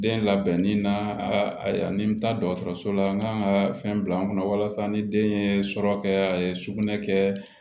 Den labɛnni na ni n bɛ taa dɔgɔtɔrɔso la n ka kan ka fɛn bila n kunna walasa ni den ye sɔrɔ kɛ sugunɛ kɛ